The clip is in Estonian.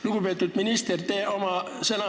Lugupeetud minister!